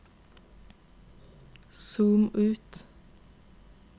zoom ut